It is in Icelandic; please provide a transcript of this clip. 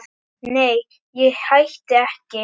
Nei, ég hætti ekki.